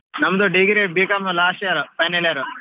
ನಮ್ದು degree B.Com last year final year .